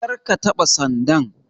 Karka taɓa sandan.